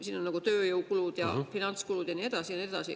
Siin on tööjõukulud, finantskulud ja nii edasi ja nii edasi.